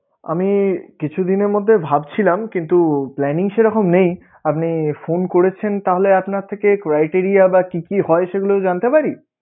আমি কিছুদিনের মধ্যে ভাবছিলাম কিন্তু plannng সেইরকম নেই আপনি phone করেছেন তাহলে আপনার থেকে criteria বা কি কি হয় সেগুলো জানতে পারি?